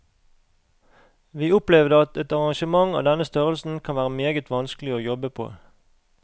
Vi opplevde at et arrangement av denne størrelsen kan være meget vanskelig å jobbe på.